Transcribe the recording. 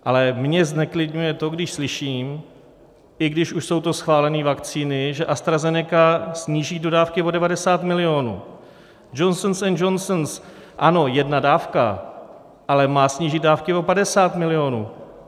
Ale mě zneklidňuje to, když slyším, i když už jsou to schválené vakcíny, že AstraZeneca sníží dodávky o 90 milionů, Johnson & Johnson, ano, jedna dávka, ale má snížit dávky o 50 milionů.